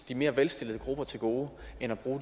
de mere velstillede grupper til gode end at bruge